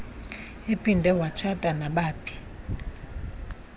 ephinde watshata nabaphi